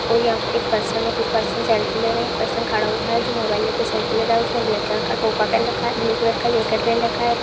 और यहाँ पर एक पर्सन है कुछ पर्सन सेल्फी ले रहे हैं एक पर्सन खड़ा हुआ है जो मोबाइल ले के सेल्फी ले रहा है उसने ब्लैक कलर का टोपा पेन रखा है। ब्लू कलर का जैकेट पहन रखा है।